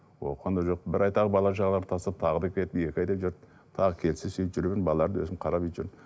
оқыған да жоқ бір ай тағы бала шағаларды тастап тағы да кетіп екі айдай жүрді тағы келсе сөйтіп жүрген балаларды өзім қарап жүрдім